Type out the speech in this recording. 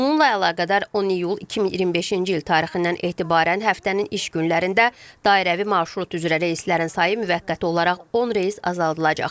Bununla əlaqədar 10 iyul 2025-ci il tarixindən etibarən həftənin iş günlərində dairəvi marşrut üzrə reyslərin sayı müvəqqəti olaraq 10 reys azaldılacaq.